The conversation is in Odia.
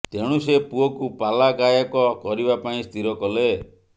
ତେଣୁ ସେ ପୁଅକୁ ପାଲା ଗାୟକ କରିବା ପାଇଁ ସ୍ଥିର କଲେ